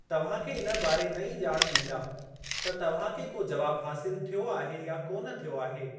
तव्हांखे इन बारे नईं ॼाणु ॾींदा त तव्हांखे को जवाबु हासिलु थियो आहे या कोन थियो आहे।